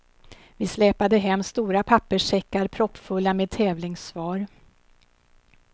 Vi släpade hem stora papperssäckar proppfulla med tävlingssvar.